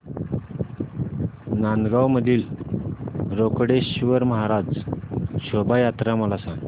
नांदगाव मधील रोकडेश्वर महाराज शोभा यात्रा मला सांग